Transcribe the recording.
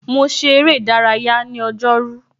Mo ṣe ère ìdárayá ní ọjọ́ rú.